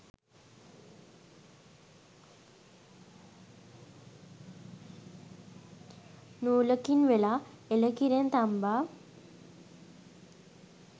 නූලකින් වෙලා එළ කිරෙන් තම්බා